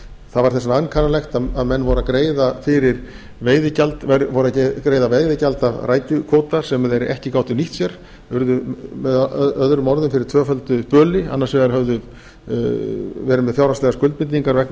það var þess vegna ankannalegt að menn voru að greiða veiðigjald af rækjukvóta sem þeir ekki gátu nýtt sér urðu möo fyrir tvöföldu böli höfðu annars vegar verið með fjárhagslegar skuldbindingar vegna